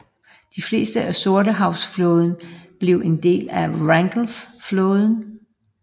De fleste af Sortehavsflåden blev en del af Wrangels Flåde